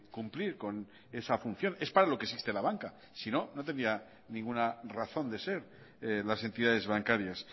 cumplir con esa función es para lo que existe la banca sino no tendría ninguna razón de ser las entidades bancarias